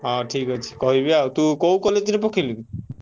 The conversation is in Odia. ହଁ ଠିକ୍ ଅଛି କହିବି ଆଉ ତୁ college ରେ ପକେଇଲୁ କି?